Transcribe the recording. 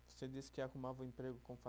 Você disse que arrumava o emprego com